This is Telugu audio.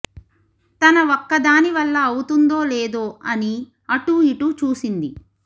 తన ఒక్కదాని వల్ల అవుతుందో లేదో అని అటు ఇటు చూసింది